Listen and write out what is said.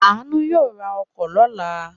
Aanu yóò ra ọkọ̀ lọ́la.